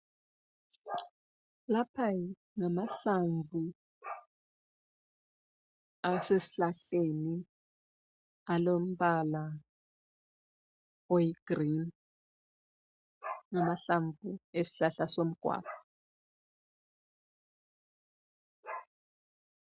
Lapha ngamahlamvu asesihlahleni alombala oyi green ,ngamahlamvu esihlahla somgwava